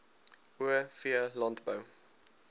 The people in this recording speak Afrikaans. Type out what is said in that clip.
o v landbou